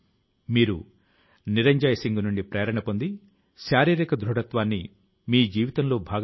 కొన్నాళ్ల క్రితం వరకు ఎవరూ నమ్మలేదు కానీ నేడు అది వ్యవస్థ లో భాగమైపోతోంది